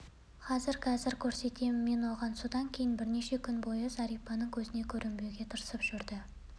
қазір қазір көрсетемін мен оған содан кейін бірнеше күн бойы зәрипаның көзіне көрінбеуге тырысып жүрді